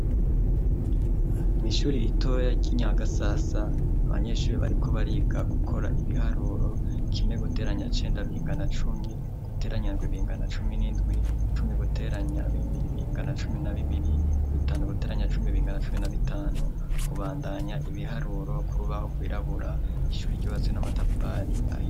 Ishuri ritoya ry'inyagasasa abanyeshure bariko bariga gukora ibiharuro kimwe guteranya cenda bingana cumi guteranya indwi bingana cumi n'indwi, cumi guteranya bibiri bingana cumi na bibiri bitanu guteranya cumi bingana cumi na bitanu kubandanya ibiharuro ku rubaho rwirabura, ishuri ryubatse n'amatafari ahiye.